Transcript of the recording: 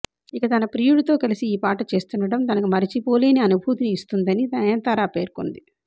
ఇక తన ప్రియుడితో కలిసి ఈ పాట చేస్తుండడం తనకు మరచిపోలేని అనుభూతినిస్తోందని నయనతార పేర్కొంది